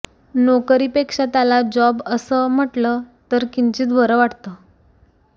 नोकरीपेक्षा त्याला जॉब असं म्हटलं तर किंचित बरं वाटतं